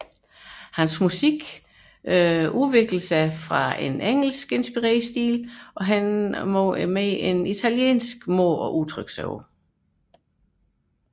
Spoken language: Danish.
Hans musik undergår en udvikling fra engelsk inspireret stil mod en italiensk udtryksmåde